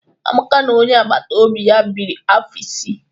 Amaka na onye agbata obi ya biri afọ isii